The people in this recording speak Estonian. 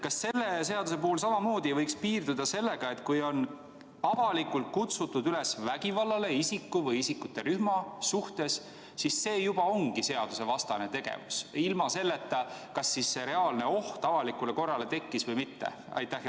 Kas selle seaduse puhul ei võiks samamoodi piirduda sellega, et kui on avalikult kutsutud üles vägivallale isiku või isikute rühma suhtes, siis see juba ongi seadusevastane tegevus, ükskõik kas reaalne oht avalikule korrale tekkis või mitte?